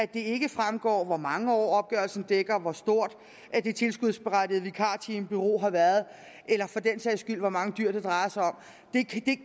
det ikke fremgår hvor mange år opgørelsen dækker hvor stort det tilskudsberettigede vikartimeforbrug har været eller for den sags skyld hvor mange dyr det drejer sig om